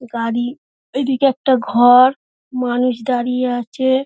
গাড়ি এইদিকে একটা ঘর মানুষ দাঁড়িয়ে আছে